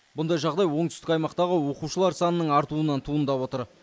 мұндай жағдай оңтүстік аймақтағы оқушылар санының артуынан туындап отыр